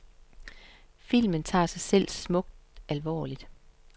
Filmen tager sig selv smukt alvorligt.